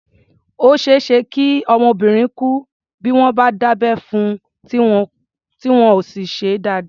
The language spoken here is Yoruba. Ó ṣeé ṣe kí ọmọbìnrin kú bí wọ́n bá dábẹ́ fun, tí wọn ò sì ṣe é dáadáa.